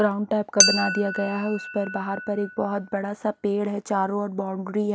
Round type का बना दिया गया है उस पर बाहर पर एक बहुत बड़ा सा पेड़ है चारों ओर बाउंड्री है।